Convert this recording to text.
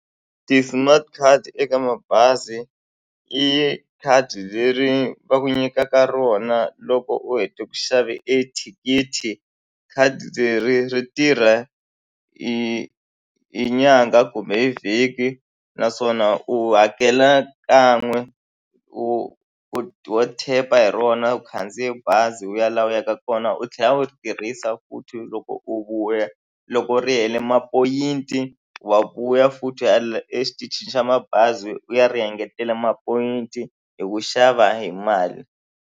Ti-smart card eka mabazi i khadi leri va ku nyikaka rona loko u hete ku xave e thikithi khadi leri ri tirha hi nyangha kumbe hi vhiki naswona u hakela kan'we u u wo tap-a hi rona u khandziye bazi u ya la u yaka kona u tlhela u ri tirhisa futhi loko u vuya loko ri hele mapoyinti wa vuya futhi u ya la exitichini xa mabazi u ya ri engetela mapoyinti hi ku xava hi mali.